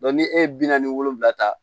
ni e ye bi naani wolonwula ta